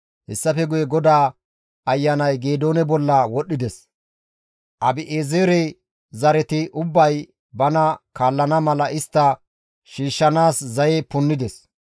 Hessafe guye GODAA Ayanay Geedoone bolla wodhdhides; Abi7eezere zareti ubbay bana kaallana mala istta shiishshanaas zaye punnides.